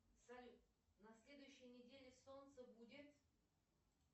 салют на следующей неделе солнце будет